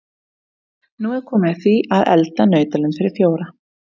Nú er komið að því að elda nautalund fyrir fjóra.